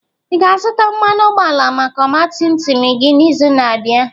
Ị ga-azụta mmanụ ụgbọala maka ọgba tum tum gị n'izu na-abịa?